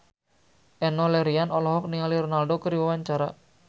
Enno Lerian olohok ningali Ronaldo keur diwawancara